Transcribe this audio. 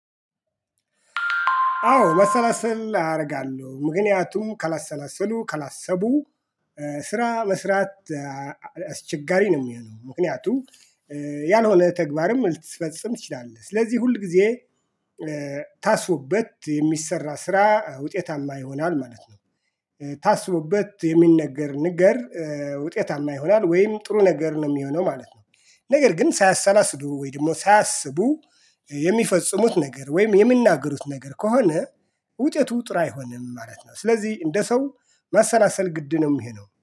አዎ መሰላሰል አደርጋለሁ ምክንያቱም ከላሰላሰሉ ከላሰቡ ስራ መስራት አስቸጋሪ ነው ሚሆነው ምክንያቱ ያልሆነ ተግባርም ልትፈጽም ትችላለህ ስለዚህ ሁል ጊዜ ታስቦበት የሚሰራ ስራ ውጤታማ ይሆናል ማለት ነው። ታስቦበት የሚነገር ነገር ውጤታማ ይሆናል ወይም ጥሩ ነገር ነው የሚሆነው ማለት ነው። ነገር ግን ሳያሰላስሉ ወይም ደግሞ ሳያስቡ የሚፈጽሙት ነገር ወይም የሚናገሩት ነገር ከሆነ ውጤቱ ጥሩ አይሆንም ማለት ነው። ስለዚህ እንደ ሰው ማሰናሰል ግድ ነው ይሄ ነው